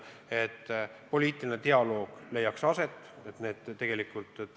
On oluline, et leiaks aset poliitiline dialoog.